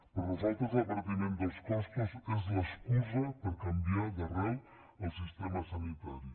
per nosaltres l’abaratiment dels costos és l’excusa per canviar d’arrel el sistema sanitari